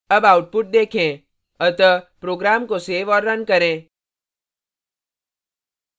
अब output देखें अतः program को so और now करें